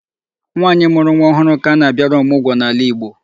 Nwaanyị mụrụ nwa ọhụụ kaba na-abịara ọmụgọ n'ala Igbo.